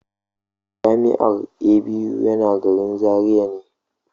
Jami'ar ABU yana garin Zaria ne.